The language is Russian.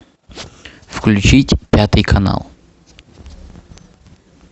включить пятый канал